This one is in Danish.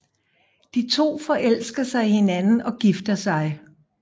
De to forelsker sig i hinanden og gifter sig